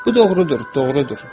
Bu doğrudur, doğrudur.